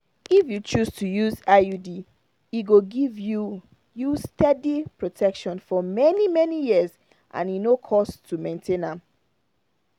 if you choose to use iud e go give you you steady protection for many-many years and e no cost to maintain am.